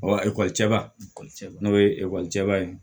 ekɔlicɛba ekɔlica n'o ye ekɔlicɛba ye